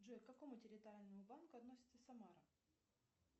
джой к какому территориальному банку относится самара